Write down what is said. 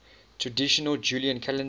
traditional julian calendar